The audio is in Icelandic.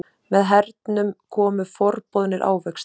Með hernum komu forboðnir ávextir.